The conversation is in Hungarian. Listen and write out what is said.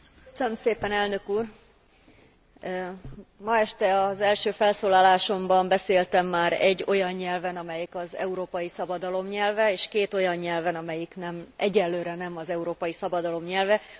Köszönöm szépen elnök úr! Ma este az első felszólalásomban beszéltem már egy olyan nyelven, amelyik az európai szabadalom nyelve és két olyan nyelven, ami egyenlőre nem az európai szabadalom nyelve.